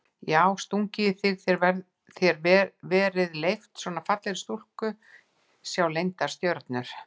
Já stungið í þig og þér verið leyft, svona fallegri stúlku að sjá leyndar stjörnur?